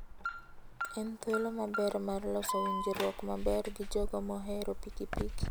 En thuolo maber mar loso winjruok maber gi jogo mohero pikipiki.